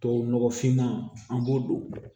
Tubabu nɔgɔ finman an b'o don